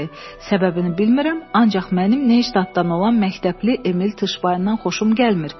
Səbəbini bilmirəm, ancaq mənim Neştaddan olan məktəbli Emil Tışbaydan xoşum gəlmir.